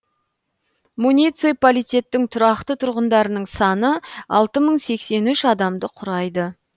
муниципалитеттің тұрақты тұрғындарының саны алты мың сексен үш адамды құрайды